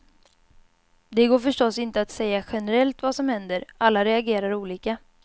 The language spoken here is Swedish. Det går förstås inte att säga generellt vad som händer, alla reagerar olika.